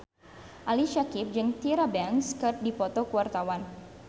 Ali Syakieb jeung Tyra Banks keur dipoto ku wartawan